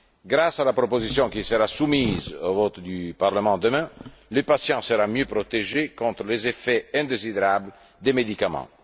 Grâce à la proposition qui sera soumise au vote du Parlement demain, le patient sera mieux protégé contre les effets indésirables des médicaments.